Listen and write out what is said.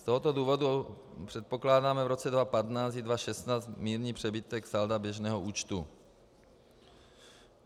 Z tohoto důvodu předpokládáme v roce 2015 i 2016 mírný přebytek salda běžného účtu.